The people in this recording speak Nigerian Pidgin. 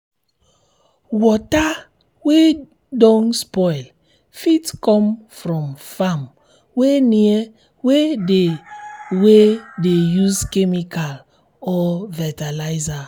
water wey don spoil fit come from farm wey near wey de wey de use chemical or fertilizer